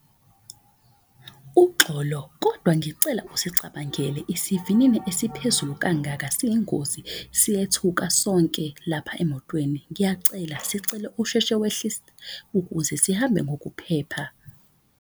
Uxolo kodwa ngicela isicabangele isivinini esiphezulu kangaka siyingozi, siyethuka sonke lapha emotweni. Ngiyacela sicela wehlise ukuze sihambe ngokuphepha.